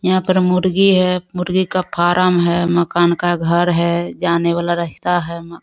यहाँ पर मुर्गी है। मुर्गी का फार्म है। मकान का घर है। जाने वाला रास्ता है। मा --